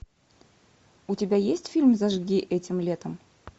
у тебя есть фильм зажги этим летом